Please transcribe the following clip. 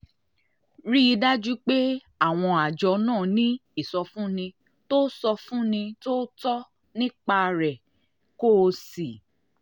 rí i dájú pé àwọn àjọ náà ní ìsọfúnni tó ìsọfúnni tó tọ́ nípa rẹ kó o sì